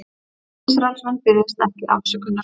Ísraelsmenn biðjast ekki afsökunar